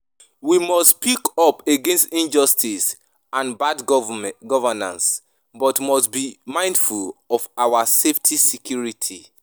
We must speak up against injustice and bad governance, but must be mindful of our safety security.